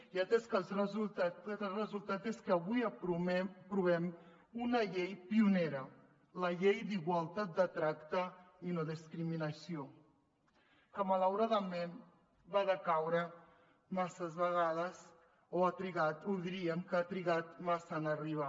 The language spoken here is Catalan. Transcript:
i el resultat és que avui aprovem una llei pionera la llei d’igualtat de tracte i no discriminació que malauradament va decaure masses vegades o ha trigat o diríem que ha trigat massa en arribar